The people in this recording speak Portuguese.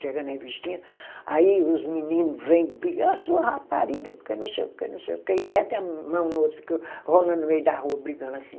Entregando revistinha, aí os menino vêm brigar, ah sua rapariga, porque não sei o que, não sei o que, e metem a mão no outro, fica rolando no meio da rua brigando assim.